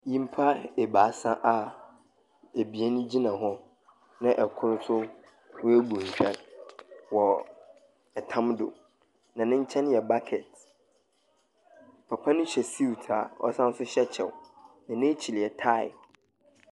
Nyimpa ebaasa a ebien gyina hɔ, na kor nso webu ntwɛr wɔ tam do, na ne nkyɛn yɛ bucket. Papa no hyɛ suit a ɔsan nso hyɛ kyɛw, na n'ekyir yɛ tae.